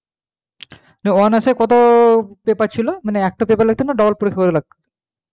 হ্যাঁ, honours এ কত paper ছিল মানে একটা paper লাগতো না double পরীক্ষা গুলো লাগতো,